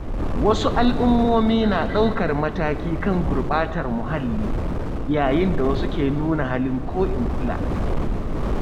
Wasu al’ummomi na ɗaukar mataki kan gurbatar muhalli, yayin da wasu ke nuna halin ko in kula.